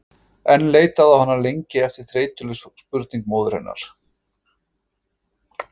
En leitaði á hana lengi á eftir þreytuleg spurning móður hennar